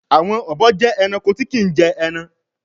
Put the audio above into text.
Àwọn obo jẹ Ẹranko tí kín jé èràn.